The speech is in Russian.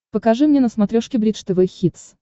покажи мне на смотрешке бридж тв хитс